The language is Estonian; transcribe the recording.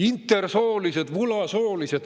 Intersoolised, vulasoolised …